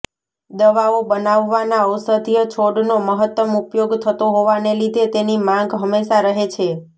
દવાઓ બનાવવાના ઔષધીય છોડનો મહત્તમ ઉપયોગ થતો હોવાને લીધે તેની માંગ હંમેશા રહે છે